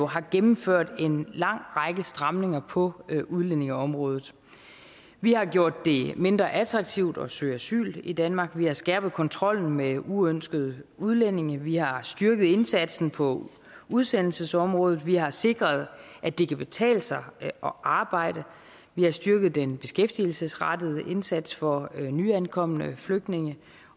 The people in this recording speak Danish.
har gennemført en lang række stramninger på udlændingeområdet vi har gjort det mindre attraktivt at søge asyl i danmark vi har skærpet kontrollen med uønskede udlændinge vi har styrket indsatsen på udsendelsesområdet vi har sikret at det kan betale sig at arbejde vi har styrket den beskæftigelsesrettede indsats for nyankomne flygtninge